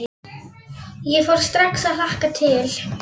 Snjáka, hvað er í dagatalinu í dag?